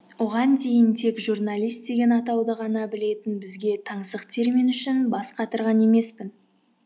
оған дейін тек журналист деген атауды ғана білетін бізге таңсық термин үшін бас қатырған емеспін